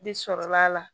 De sɔrɔla a la